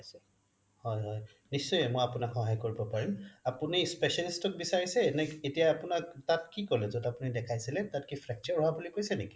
হয় হয় নিশ্চয় মই আপোনাক সহায় কৰিব পাৰিম আপুনি specialists অক বিচাৰিছে নে আপোনাক তাত কি কলে যত আপুনি দেখাইছিলে তাত কি fracture হোৱা বুলি কৈছিলে নেকি